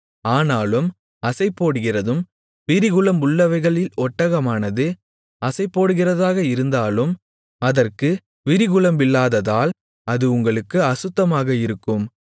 ஆனாலும் அசைபோடுகிறதும் விரிகுளம்புள்ளவைகளில் ஒட்டகமானது அசைபோடுகிறதாக இருந்தாலும் அதற்கு விரிகுளம்பில்லாததால் அது உங்களுக்கு அசுத்தமாக இருக்கும்